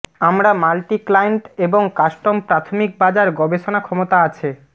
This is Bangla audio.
আমরা মাল্টি ক্লায়েন্ট এবং কাস্টম প্রাথমিক বাজার গবেষণা ক্ষমতা আছে